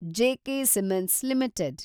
J K cements limited